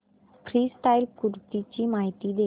freestyle कुस्ती ची माहिती दे